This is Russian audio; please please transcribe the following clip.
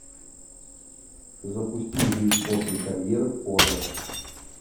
запусти жизнь после карьеры в порно